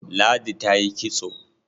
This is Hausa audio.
Ladi ta yi kitso.